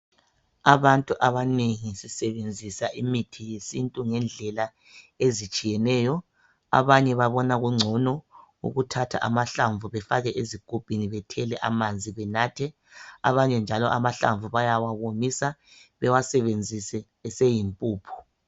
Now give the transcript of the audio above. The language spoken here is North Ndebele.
Abantu abanengi basebenzisa imithi yesintu ngendlela ezitshiyeneyo. Abanye babona kungcono ukuthatha amahlamvu befake ezigubhini bethele amanzi benathe. Abanye njalo amahlamvu bayawawomisa bewasebenzise eseyimpuphu.